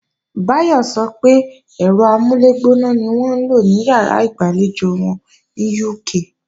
Báyọ̀ sọ pé ẹ̀rọ amúlẹ̀gbóná ni wọ́n ń lò ní ìyàrá ìgbàlejò wọn ní UK